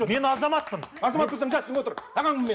мен азаматпын азамат болсаң